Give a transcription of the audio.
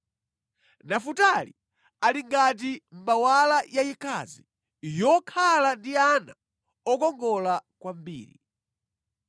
“Nafutali ali ngati mbawala yayikazi yokhala ndi ana okongola kwambiri.